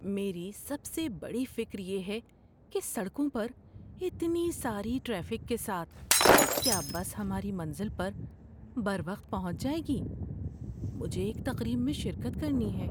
میری سب سے بڑی فکر یہ ہے کہ سڑکوں پر اتنی ساری ٹریفک کے ساتھ کیا بس ہماری منزل پر بروقت پہنچ جائے گی۔ مجھے ایک تقریب میں شرکت کرنی ہے۔